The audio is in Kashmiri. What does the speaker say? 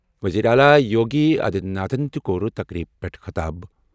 وزیر اعلیٰ یوگی آدتیہ ناتھ تہِ کٔر تقریبہِ منٛز خطاب۔